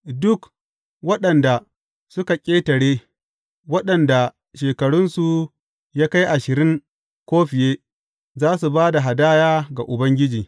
Duk waɗanda suka ƙetare, waɗanda shekarunsu ya kai ashirin ko fiye, za su ba da hadaya ga Ubangiji.